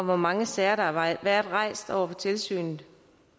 hvor mange sager der har været rejst over for tilsynet